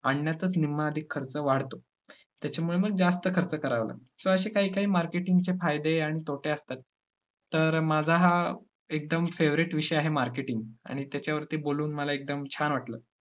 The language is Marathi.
आणण्यातच निम्मा अधिक खर्च वाढतो, त्याच्यामुळे मग जास्त खर्च करावा लागतो. so असे काही काही marketing चे फायदे आणि तोटे असतात. तर माझा हा एकदम favourite विषय आहे marketing आणि त्याच्यावरती बोलून मला एकदम छान वाटलं.